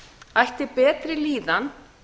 ætti betri líðan